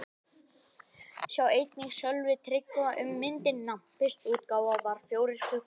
Sjá einnig: Sölvi Tryggva um myndina: Fyrsta útgáfa var fjórir klukkutímar